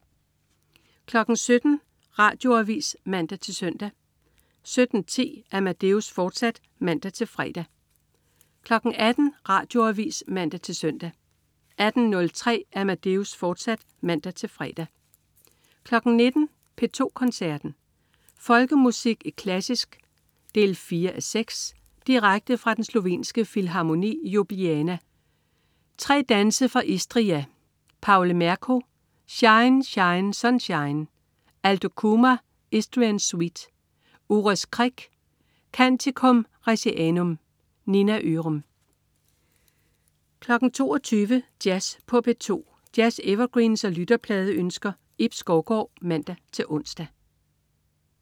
17.00 Radioavis (man-søn) 17.10 Amadeus, fortsat (man-fre) 18.00 Radioavis (man-søn) 18.03 Amadeus, fortsat (man-fre) 19.00 P2 Koncerten. Folkemusik i klassisk 4:6. Direkte fra Den slovenske Filharmoni i Ljubljana. Trad.: Tre danse fra Istria. Pavle Merku: Shine, shine, sunshine. Aldo Kumar: Istrian suite. Uros Krek: Canticum Resianum. Nina Ørum 22.00 Jazz på P2. Jazz-evergreens og lytterpladeønsker. Ib Skovgaard (man-ons)